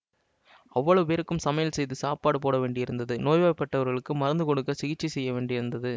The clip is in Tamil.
அவ்வளவு பேருக்கும் சமையல் செய்து சாப்பாடு போடவேண்டியிருந்தது நோய்ப் பட்டவர்களுக்கு மருந்து கொடுக்க சிகிச்சை செய்ய வேண்டியிருந்தது